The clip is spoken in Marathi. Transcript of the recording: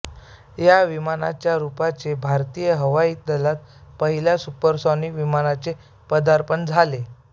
या विमानाच्या रुपाने भारतीय हवाई दलात पहिल्या सुपरसॉनिक विमानाचे पदार्पण झाले